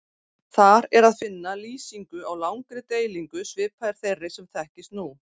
Þar er að finna lýsingu á langri deilingu svipaðri þeirri sem þekkist nú.